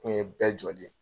N ye bɛɛ jɔlen ye.